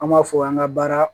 An b'a fɔ an ka baara